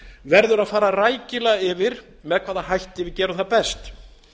verður að fara rækilega yfir með hvaða hætti við gerum það best